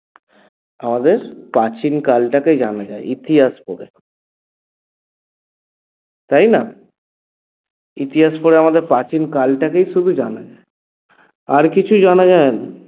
আমাদের প্রাচীনকালটাকে জানা যায় ইতিহাস পড়ে তাই না? ইতিহাস পড়ে আমাদের প্রাচীনকালটাকেই শুধু জানা যায় আর কিছুই জানা যায় না